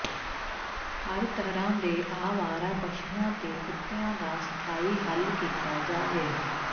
ਹਰ ਤਰ੍ਹਾਂ ਦੇ ਆਵਾਰਾ ਪਸ਼ੂਆਂ ਤੇ ਕੁੱਤਿਆਂ ਦਾ ਸਥਾਈ ਹੱਲ ਕੀਤਾ ਜਾਵੇ